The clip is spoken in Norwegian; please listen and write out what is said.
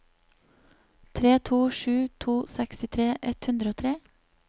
tre to sju to sekstitre ett hundre og tre